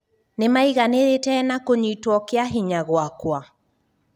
Nĩmaiganĩrĩte na kũnyitwo kĩahinya gwakwa?"